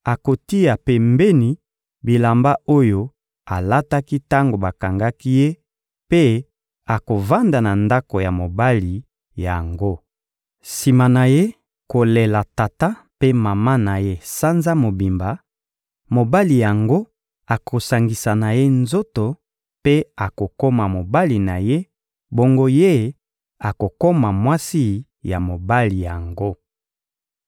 akotia pembeni bilamba oyo alataki tango bakangaki ye mpe akovanda na ndako ya mobali yango. Sima na ye kolela tata mpe mama na ye sanza mobimba, mobali yango akosangisa na ye nzoto mpe akokoma mobali na ye; bongo ye akokoma mwasi ya mobali yango.